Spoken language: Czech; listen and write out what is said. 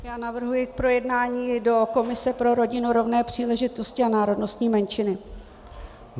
Já navrhuji k projednání do komise pro rodinu, rovné příležitosti a národnostní menšiny.